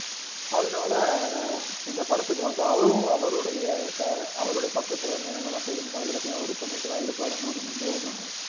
அதனால இந்த படத்துக்கு வந்து அவரும் அவருடைய ச~ அவருடைய பக்கத்துல இருந்து என்னென்னலாம் செய்யணுமோ அது எல்லாத்தையும் அவர் பண்ணிட்டுதான் இருப்பாருன்னு நாம நம்புவோமாக